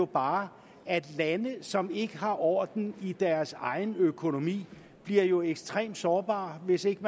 bare at lande som ikke har orden i deres egen økonomi bliver ekstremt sårbare hvis ikke